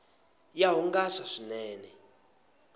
ya hungasa swinene